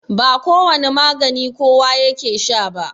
ba kowane magani kowa yake Sha ba